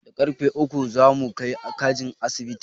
Da karrfe uku za mu kai kajin asibiti.